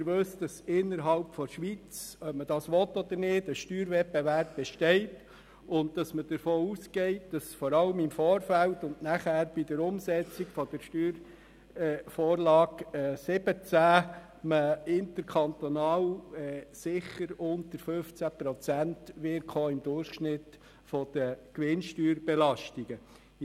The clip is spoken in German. Sie wissen, dass innerhalb der Schweiz ein Steuerwettbewerb besteht und man davon ausgehen muss, dass man interkantonal im Vorfeld und vor allem bei der Umsetzung der SV17 bei den Gewinnsteuerbelastungen im Durchschnitt unter 15 Prozent gelangen wird.